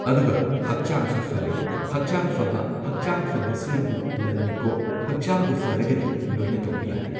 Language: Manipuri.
ꯑꯗꯨꯒ ꯍꯛꯆꯥꯡꯁꯨ ꯐꯔꯦ ꯍꯛꯆꯥꯡ ꯐꯕ ꯍꯛꯆꯥꯡ ꯐꯕꯁꯤꯅꯕꯨ ꯂꯟꯅꯤꯀꯣ ꯍꯛꯆꯥꯡꯕꯨ ꯐꯔꯒꯗꯤ ꯂꯣꯏꯅ ꯇꯧꯕ ꯌꯥꯔꯦ꯫